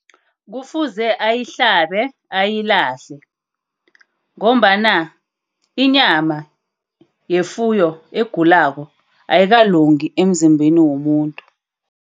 Kufuze ayihlabe, ayilahle. Ngombana inyama yefuyo egulako ayikalungi emzimbeni womuntu.